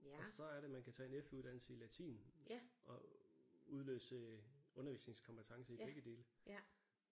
Og så er det man kan tage en efteruddannelse i latin og udløse undervisningskompetencer i begge dele